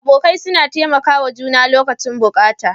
Abokai suna taimakawa juna lokacin buƙata.